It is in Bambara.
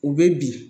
U bɛ bin